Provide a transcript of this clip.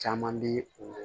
Caman bi o